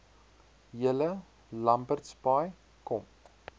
julle lambertsbaai kom